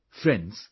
Friends,